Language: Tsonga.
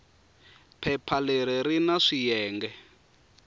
phepha leri ri na swiyenge